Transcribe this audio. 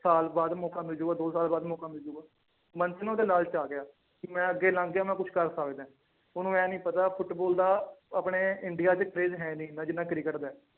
ਸਾਲ ਬਾਅਦ ਮੌਕਾ ਮਿਲ ਜਾਊਗਾ ਦੋ ਸਾਲ ਮੌਕਾ ਮਿਲ ਜਾਊਗਾ, ਮਨ ਚ ਨਾ ਉਹਦੇ ਲਾਲਚ ਆ ਗਿਆ ਕਿ ਮੈਂ ਅੱਗੇ ਲੰਘ ਗਿਆ ਮੈਂ ਕੁਛ ਕਰ ਸਕਦਾ ਹੈ, ਉਹਨੂੰ ਇਹ ਨੀ ਪਤਾ ਫੁਟਬਾਲ ਦਾ ਆਪਣੇ ਇੰਡੀਆ ਚ craze ਹੈ ਨੀ ਇੰਨਾ ਜਿੰਨਾ ਕ੍ਰਿਕਟ ਦਾ ਹੈ।